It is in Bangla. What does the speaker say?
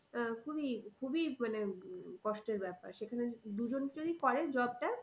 আহ খুবই, খুবই মানে কষ্টের ব্যাপার সেখানে দুজন যদি করে job টা